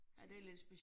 Det lidt